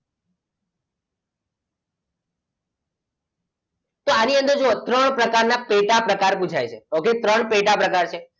તો આની જુઓ અંદર ત્રણ પ્રકાર ના પેટા પ્રકાર પુછાય છે okay ત્રણ પેટા પ્રકાર છે